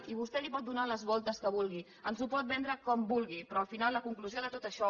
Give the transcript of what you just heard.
i vostè li pot donar les voltes que vulgui ens ho pot vendre com vulgui però al final la conclusió de tot això